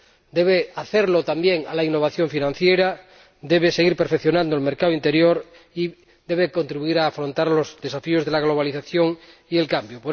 Debe hacerlo también para la innovación financiera, debe seguir perfeccionando el mercado interior y debe contribuir a afrontar los desafíos de la globalización y el cambio.